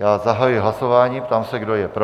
Já zahajuji hlasování, ptám se, kdo je pro?